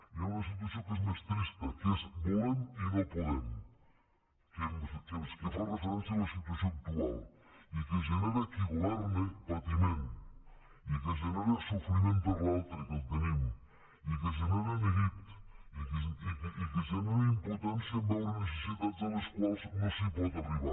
hi ha una situació que és més trista que és volem i no podem que fa referència a la situació actual i que genera a qui governa patiment i que genera sofriment per l’altre que el tenim i que genera neguit i que genera impotència en veure necessitats a les quals no es pot arribar